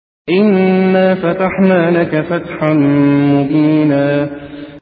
إِنَّا فَتَحْنَا لَكَ فَتْحًا مُّبِينًا